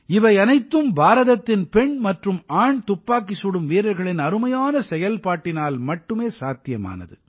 இவையனைத்தும் பாரதத்தின் பெண் மற்றும் ஆண் துப்பாக்கி சுடும் வீரர்களின் அருமையான செயல்பாட்டினால் மட்டுமே சாத்தியமானது